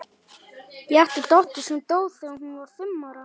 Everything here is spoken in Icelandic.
Ég átti dóttur sem dó þegar hún var fimm ára.